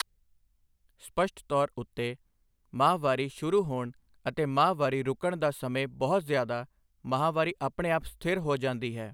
ਸਪੱਸ਼ਟ ਤੌਰ ਉੱਤੇ, ਮਾਹਵਾਰੀ ਸ਼ੁਰੂ ਹੋਣ ਅਤੇ ਮਾਹਵਾਰੀ ਰੁਕਣ ਦਾ ਸਮੇਂ ਬਹੁਤ ਜ਼ਿਆਦਾ ਮਹਾਵਾਰੀ ਆਪਣੇ ਆਪ ਸਥਿਰ ਹੋ ਜਾਂਦੀ ਹੈ।